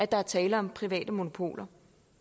der er tale om private monopoler